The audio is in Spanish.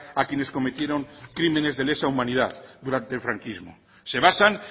a quienes cometieron crímenes de lesa humanidad durante el franquismo se basan